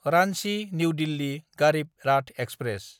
Ranchi new Delhi Garib Rath express